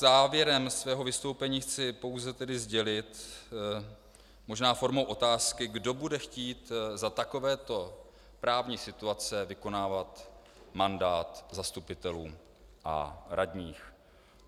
Závěrem svého vystoupení chci pouze tedy sdělit - možná formou otázky: Kdo bude chtít za takovéto právní situace vykonávat mandát zastupitelů a radních?